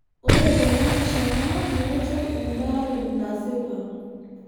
Ore tenarishata metaee embaree nasipa.